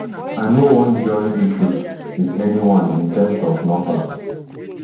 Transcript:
i no wan join issues wit anyone in terms of numbers